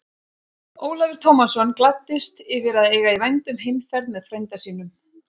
Ólafur Tómasson gladdist yfir að eiga í vændum heimferð með frænda sínum.